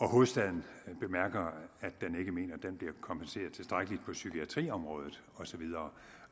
hovedstaden bemærker at den ikke mener den bliver kompenseret tilstrækkeligt på psykiatriområdet og så videre